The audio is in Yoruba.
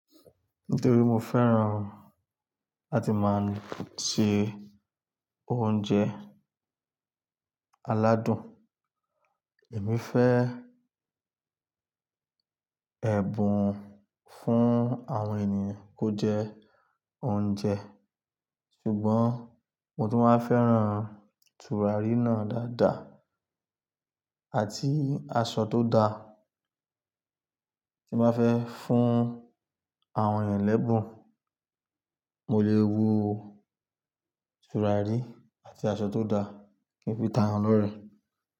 Nítorí mo fẹ́ràn láti máa ń se oúnjẹ aládùn, èmi fẹ́ ẹ̀bùn fún àwọn ènìyàn kó jẹ oúnjẹ. Ṣùgbọ́n mo tún máa fẹ́ràn tùràrí náà dáadáa àti aṣọ tó da tí máa fẹ́ fún àwọn ẹlẹ́bùn. Mo lè wo tùràrí àti aṣọ tó da kí n fi ta eyan lọ́rẹ̀ẹ́.